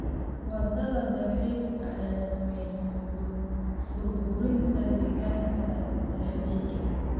Waaxda dalxiiska ayaa saameysay burburinta deegaanka dabiiciga ah.